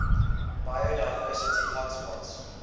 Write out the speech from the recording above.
biodiversity hotspots